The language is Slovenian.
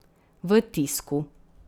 V tisku.